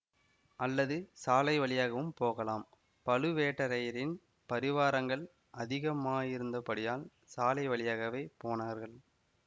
அல்லது சாலை வழியாகவும் போகலாம் பழுவேட்டரையரின் பரிவாரங்கள் அதிகமாயிருந்தபடியால் சாலை வழியாகவே போனார்கள்